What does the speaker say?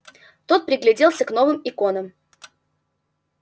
тот пригляделся к новым иконкам